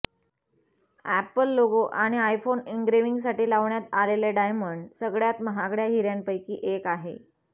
apple logo आणि iPhone एन्ग्रेविंगसाठी लावण्यात आलेले डायमंड सगळ्यात महागड्या हिऱ्यांपैकी एक आहे